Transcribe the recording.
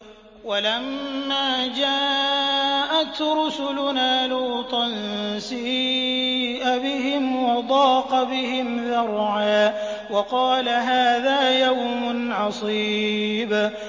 وَلَمَّا جَاءَتْ رُسُلُنَا لُوطًا سِيءَ بِهِمْ وَضَاقَ بِهِمْ ذَرْعًا وَقَالَ هَٰذَا يَوْمٌ عَصِيبٌ